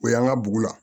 O y'an ka bugu la